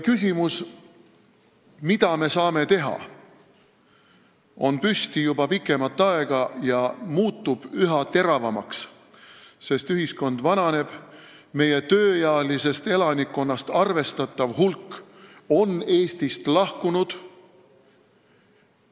Küsimus, mida me saame teha, on olnud juba pikemat aega ja muutub üha teravamaks, sest ühiskond vananeb ja arvestatav hulk meie tööealisest elanikkonnast on Eestist lahkunud.